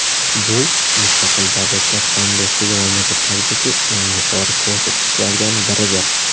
Bu Mustaqil Davlatlar Hamdo‘stligi mamlakatlaridagi eng yuqori ko‘rsatkichlardan biridir.